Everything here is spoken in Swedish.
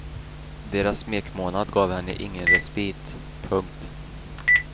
Deras smekmånad gav henne ingen respit. punkt